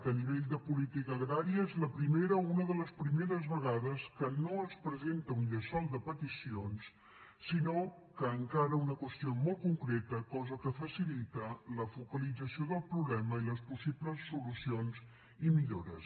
a nivell de política agrària és la primera o una de les primeres vegades que no es presenta un llençol de peticions sinó que encara una qüestió molt concreta cosa que facilita la focalització del problema i les possibles solucions i millores